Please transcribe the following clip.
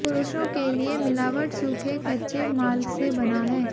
पुरुषों के लिए मिलावट सूखे कच्चे माल से बना है